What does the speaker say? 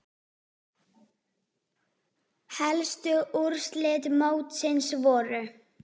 Helstu úrslit mótsins voru